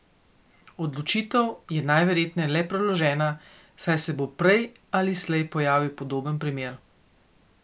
Odločitev je najverjetneje le preložena, saj se bo prej ali slej pojavil podoben primer.